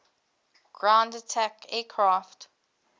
ground attack aircraft